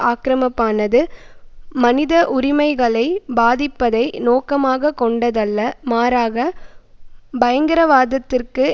ஆக்கிரமப்பானது மனித உரிமைகளை பாதிப்பதை நோக்கமாக கொண்டதல்ல மாறாக பயங்கரவாதத்திற்கு